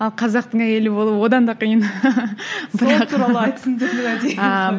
ал қазақтың әйелі болу одан да қиын